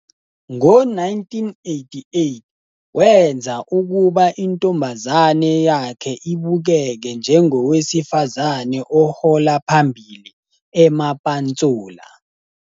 Ngo-1988, wenza ukuba intombazane yakhe ibukeke njengowesifazane ohola phambili "eMapantsula".